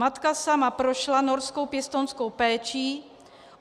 Matka sama prošla norskou pěstounskou péčí.